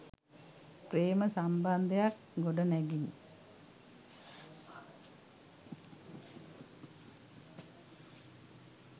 ප්‍රේම සම්බන්ධයක්‌ ගොඩනැගිනි.